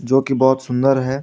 जो की बहुत सुंदर है।